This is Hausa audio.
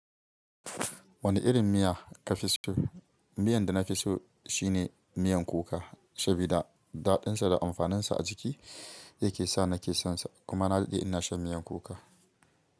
Wane irin miya ka fi so? Miyan da na fi so shine miyan kuka, sabida daɗinsa da amfaninsa a jiki yake sa na ke son sa. Kuma na daɗe ina shan miyan kuka.